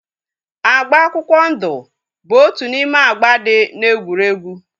Agba akwụkwọ ndụ bụ otu n'ime agba dị na egwurugwu